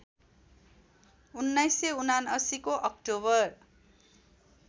१९७९ को अक्टोबर